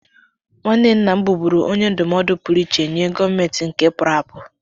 Nwanne nna m bụbuuru onye ndụmọdụ pụrụ iche nye gọvanọ nke pụrụ apụ